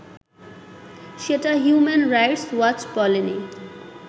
সেটা human rights watch বলেনি